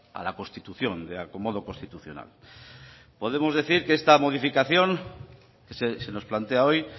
a la constitución de acomodo constitucional podemos decir que esta modificación que se nos plantea hoy